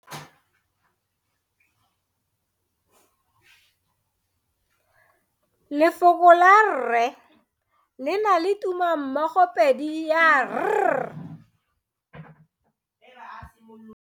Lefoko la rre le na le tumammogopedi ya, r.